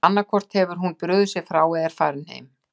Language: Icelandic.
Annað hvort hefur hún brugðið sér frá eða er farin heim!